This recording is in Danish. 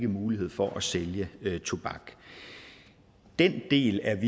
mulighed for at sælge tobak den del er